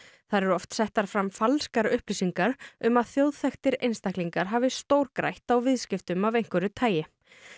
þar eru oft settar fram falskar upplýsingar um að þjóðþekktir einstaklingar hafi stórgrætt á viðskiptum af einhverju tagi